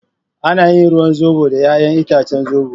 Ana yin ruwan zobo da yayan itacen zobo.